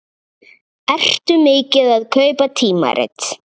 Ertu mikið að kaupa tímarit?